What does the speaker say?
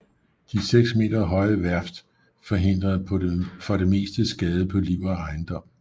De seks meter høje værft forhindrede for det meste skade på liv og ejendom